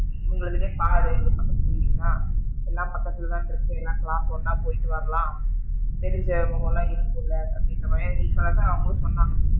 இவுங்க இதுலே பாரு இந்த பக்கத்துக்கு building தான் எல்லாம் பக்கத்துல தான் இருக்கு எல்லா class சு ஒன்னா போயிட்டு வரலாம் தெரிஞ்ச முகமாலா இருக்குல அப்படின்னு நீ சொல்றது தான் அவுங்களும் சொன்னாங்க,